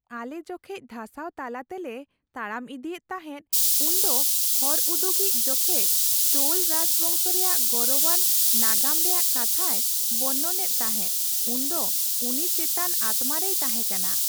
ᱟᱞᱮ ᱡᱚᱠᱷᱮᱡ ᱫᱷᱟᱥᱟᱣ ᱛᱟᱞᱟ ᱛᱮᱞᱮ ᱛᱟᱲᱟᱢ ᱤᱫᱤᱭᱮᱫ ᱛᱟᱦᱮᱫ ᱩᱱ ᱫᱚ ᱦᱚᱨ ᱩᱫᱩᱜᱤᱡ ᱡᱚᱠᱷᱮᱡ ᱪᱳᱞ ᱨᱟᱡᱽ ᱵᱚᱝᱥᱚ ᱨᱮᱭᱟᱜ ᱜᱚᱨᱚᱵᱟᱱ ᱱᱟᱜᱟᱢ ᱨᱮᱭᱟᱜ ᱠᱟᱛᱷᱟᱭ ᱵᱚᱨᱱᱚᱱ ᱮᱫ ᱛᱟᱦᱮᱸ ᱩᱱ ᱫᱚ ᱩᱱᱤ ᱪᱮᱛᱟᱱ ᱟᱛᱢᱟ ᱨᱮᱭ ᱛᱟᱦᱮᱸ ᱠᱟᱱᱟ ᱾